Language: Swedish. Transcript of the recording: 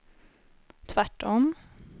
tvärtom